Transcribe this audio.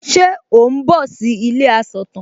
Ṣe ò ń bọ̀ sí ilé asọ̀tàn?